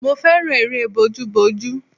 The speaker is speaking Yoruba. Mo fẹ́ràn eré bojúbojú